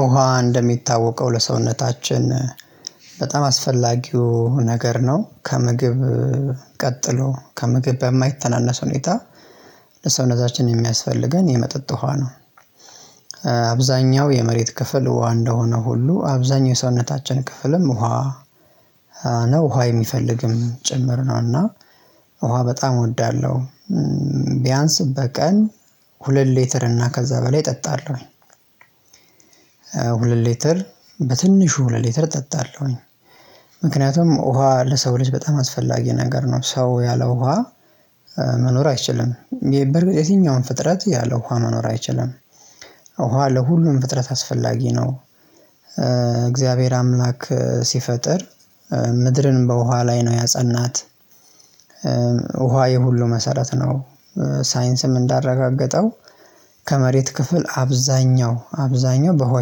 ውሃ እንደሚታወቀው ለሰውነታችን በጣም አስፈላጊው ነገር ነው ከምግብ ቀጥሎ ከምግብ በማይተናነስ ሁኔታ ለሰውነታችን የሚያስፈልገን የመጠጥ ውሃ ነው። አብዛኛው የመሬት ክፍል ውሃ እንደሆነ ሁሉ አብዛኛው የሰውነታችን ክፍልም ውሃ ነው። ውሃ የሚፈልግም ጭምር ነው። እና ውሃ በጣም እወዳለሁ ቢያንስ በቀን ሁለት ሌተር እና ከዛ በላይ እጠጣለሁ። ሁለት ሊትር በትንሹ ሁለት ሊትር እጠጣለሁኝ። ምክንያቱም ውሃ ለሰው ልጅ በጣም አስፈላጊ ነገር ነው። ሰው ያለው ውሃ መኖር አይችልም ይሄ በርግጥ የትኛውም ፍጥረት ያለ ውሃ መኖር አይችልም። ውሃ ለሁሉም ፍጥረት አስፈላጊ ነው። እግዚአብሔር አምላክ ሲፈጥር ምድርን በውሃ ላይ ነው ያጸናት። ውሃ የሁሉ መሰረት ነው። ሳይንስም እንዳረጋገጠው ከመሬት ክፍል አብዛኛው አብዛኛው በውሃ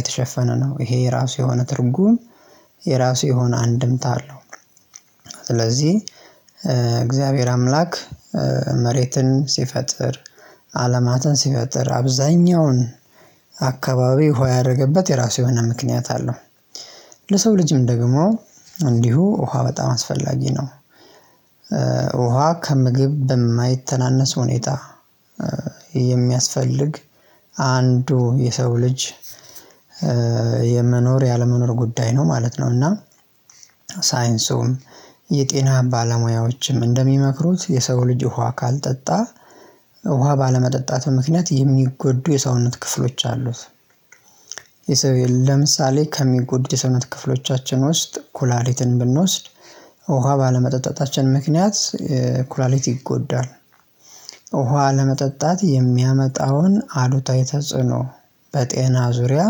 የተሸፈነ ነው። ይሄ የራሱ የሆነ ትርጉም የራሱ የሆነ አንድምታ አለው። ስለዚህ እግዚአብሔር አምላክ መሬትን ሲፈጥር አለማትን ሲፈጥር አብዛኛውን አካባቢ ሆይ ያደረገበት የራሱ የሆነ ምክንያት አለው። ለሰው ልጅም ደግሞ እንዲሁ ውሃ በጣም አስፈላጊ ነው። ውሃ ከምግብ በማይተናነስ ሁኔታ የሚያስፈልግ አንዱ የሰው ልጅ የመኖር ያለመኖር ጉዳይ ነው ማለት ነው። እና ሳይንሱም የጤና ባለሙያዎችም እንደሚመክሩት የሰው ልጅ ውሃ ካልጠጣ ውሃ ባለመጠጣቱ ምክንያት የሚጎዱ የሰውነት ክፍሎች አሉት። የሰውየል ለምሳሌ ከሚጎዱ የሰውነት ክፍሎቻችን ውስጥ ኩላሊትን ብንወስድ ውሃ ባለመጠጣታችን ምክንያት ኩላሊት ይጎዳል። ውሃ ለመጠጣት የሚያመጣውን አሉታዊ ተጽዕኖ በጤና ዙሪያ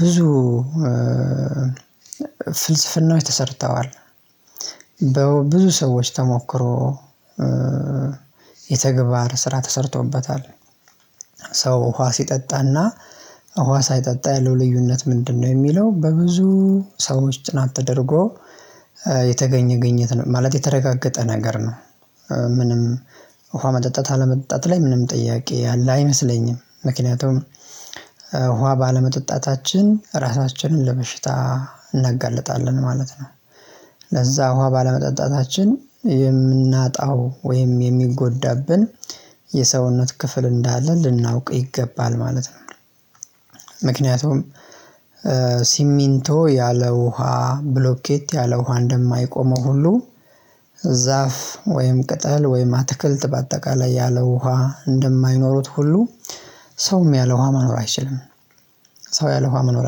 ብዙ ፍልስፍናዎች ተሰርተዋል። በብዙ ሰዎች ተሞክሮ የተግባር ስራ ተሰርቶበታል። ሰው ውሃ ሲጠጣና ውሃ ሳይጠጣ ያለው ልዩነት ምንድነው? የሚለው በብዙ ሰዎች ጥናት ተደርጎ የተገኘ ግኝት ማለቴ የተረጋገጠ ነገር ነው። ምንም ውሃ መጠጣት አለመጠጣት ላይ ምንም ጥያቄ ያለ አይመስለኝም። ምክንያቱም ውሃ ባለመጠጣታችን ራሳችንን ለበሽታ እናጋልጣለን ማለት ነው። ለዛ ውሃ ባለመጠጣታችን የምናጣው ወይም የሚጎዳብን የሰውነት ክፍል እንዳለ ልናውቅ ይገባል ማለት ነው። ምክንያቱም ሲሚንቶ ያለ ውሃ ብሎኬት ያለ ውሃ እንደማይቆመው ሁሉ ዛፍ ወይም ቅጠል ወይም አትክልት በአጠቃላይ ያለ ውሃ እንደማይኖሩት ሁሉ ሰውም ያለ ውሃ መኖር አይችልም። ሰው ያለ መኖር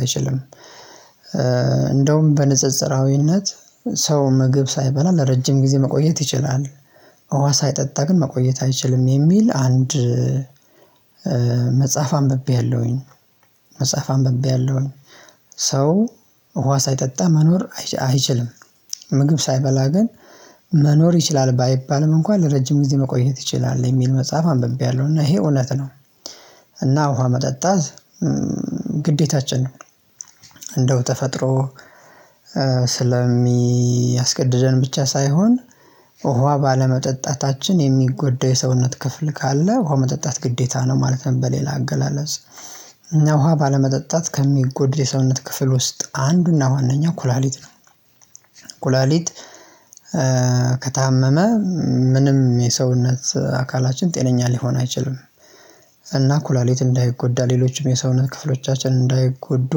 አይችልም። እንደውም በንጽጽራዊነት ሰው ምግብ ሳይበላ ለረጅም ጊዜ መቆየት ይችላል ውሃ ሳይጠጣ ግን መቆየት አይችልም የሚል አንድ መጽሐፍ አንብቤያለሁኝ። መጽሐፍ አንብቤያለሁኝ ሰው ውሃ ሳይጠጣ መኖር አይችልም። ምግብ ሳይበላ ግን መኖር ይችላል ባይባልም እንኳን ለረጅም ጊዜ መቆየት ይችላል የሚል መጽሐፍ አንብቤያለሁ እና ይሄ እውነት ነው። እና ውሃ መጠጣት ግዴታችን ነው። እንደው ተፈጥሮ ስለሚያስገድደን ብቻ ሳይሆን ውሃ ባለመጠጣታችን የሚጎዳው የሰውነት ክፍል ካለ ውሃ መጠጣት ግዴታ ነው ማለትም በሌላ አገላለጽ እና ውሃ ባለመጠጣት ከሚጎድል የሰውነት ክፍል ውስጥ አንዱና ዋናኛ ኩላሊት ነው። ኩላሊት ከታመመ ምንም የሰውነት አካላችን ጤነኛ ሊሆን አይችልም። እና ኩላሊት እንዳይጎዳ ሌሎችም የሰውነት ክፍሎቻችን እንዳይጎዱ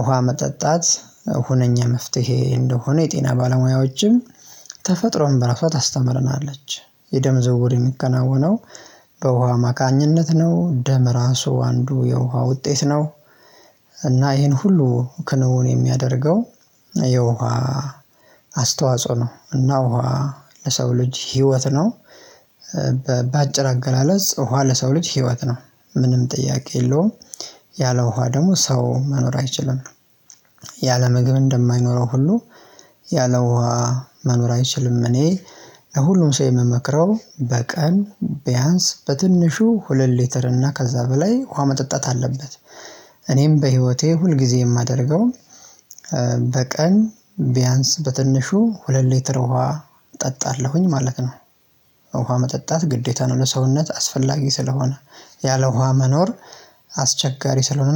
ውሃ መጠጣት ሁነኛ መፍትሄ እንደሆነ የጤና ባለሙያዎችም በራሷ አስተምረናለች። የደም ዘውር የሚከናወነው በውሃ ማካኝነት ነው ደም ራሱ አንዱ የውሃ ውጤት ነው። እና ይሄን ሁሉ ክንውን የሚያደርገው የውሃ አስተዋጽኦ ነው እና ውሃ ለሰው ልጅ ህይወት ነው። በአጭር አገላለጽ ውሃ ለሰው ልጅ ህይወት ነው። ምንም ጥያቄ የለውም። ያለ ውሃ ደግሞ ሰው መኖር አይችልም። ያለ ምግብ እንደማይኖረው ሁሉ ያለ ውሃ መኖር አይችልም። እኔ ለሁሉም ሰው የምመክረው በቀን ቢያንስ በትንሹ ሁለት ሊትር እና ከዛ በላይ ውሃ መጠጣት አለበት። እኔም በህይወቴ ሁል ጊዜ የማደርገውን በቀን ቢያንስ በትንሹ ሁለት ሊትር ውሃ እጠጣለሁኝ ማለት ነው። ውሃ መጠጣት ግዴታ ነው። ለሰውነት አስፈላጊ ስለሆነ ያለ ውሃ መኖር አስቸጋሪ ስለሆነ